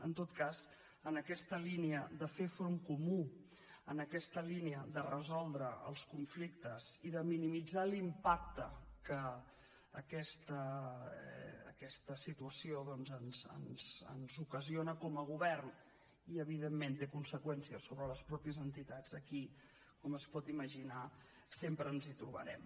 en tot cas en aquesta línia de fer front comú en aquesta línia de resoldre els conflictes i de minimitzar l’impacte que aquesta situació ens ocasiona com a govern i evidentment té conseqüència sobre les mateixes entitats aquí com es pot imaginar sempre ens hi trobarem